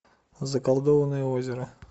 заколдованное озеро